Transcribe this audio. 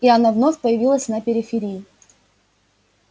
и она вновь появилась на периферии